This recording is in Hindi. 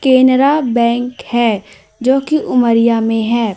केनरा बैंक है जो की उमरिया में है।